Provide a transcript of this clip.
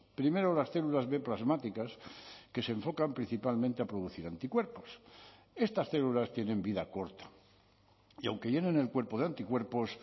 primero las células b plasmáticas que se enfocan principalmente a producir anticuerpos estas células tienen vida corta y aunque llenen el cuerpo de anticuerpos